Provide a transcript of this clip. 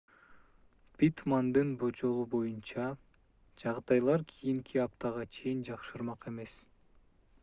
питтмандын божомолу боюнча жагдайлар кийинки аптага чейин жакшырмак эмес